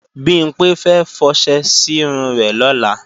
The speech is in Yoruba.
Bimpé fẹ́ fọṣẹ sírun rẹ̀ lọ́la